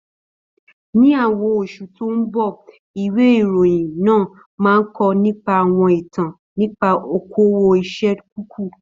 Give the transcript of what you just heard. Ní àwọn oṣù tí ó ń bọ̀, ìwé ìròyìn náà máa kọ nípa àwọn ìtàn nípa okòwò ẹsẹ̀ kúkú.